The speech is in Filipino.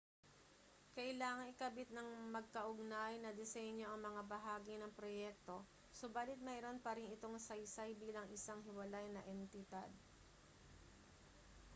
kailangang ikabit ng magkaugnay na disenyo ang mga bahagi ng proyekto subalit mayroon pa rin itong saysay bilang isang hiwalay na entidad